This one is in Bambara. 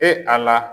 E a la